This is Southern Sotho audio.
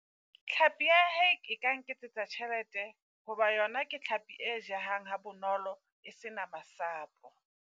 Tlhapi ya hake e ka nketsetsa tjhelete, hoba yona ke tlhaapi e jehang ha bonolo, e sena masapo.